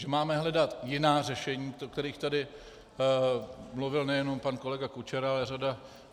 Že máme hledat jiná řešení, o kterých tady mluvil nejenom pan kolega Kučera, ale řada...